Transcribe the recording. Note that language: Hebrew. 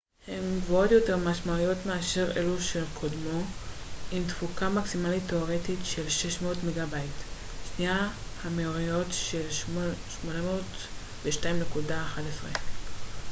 המהירויות של 802.11n הן גבוהות יותר משמעותית מאשר אלו של קודמו עם תפוקה מקסימלית תאורטית של 600 מגה־ביט/שנייה